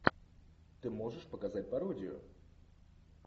ты можешь показать пародию